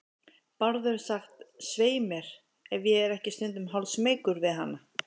Bárður sagt, svei mér, ef ég er ekki stundum hálfsmeykur við hana.